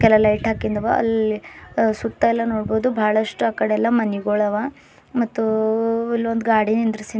ಇಲ್ಲೆಲ್ಲಾ ಲೈಟ್ ಹಾಕಿಂದವ ಅಲ್ ಸುತ್ತ ಎಲ್ಲಾ ನೋಡ್ಬೋದು ಬಹಳಷ್ಟು ಅಕಾಡ ಎಲ್ಲಾ ಮನಿಗುಳವ ಮತ್ತೋ ಇಲ್ ಒಂದ್ ಗಾಡಿ ನಿಂದ್ರುಸಿ--